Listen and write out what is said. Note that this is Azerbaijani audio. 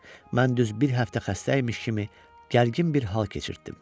Mən düz bir həftə xəstə imiş kimi gərgin bir hal keçirtdim.